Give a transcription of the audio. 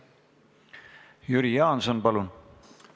Jüri Jaanson, palun!